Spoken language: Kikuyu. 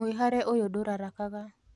Mwĩhare ũyũ ndu rarakaga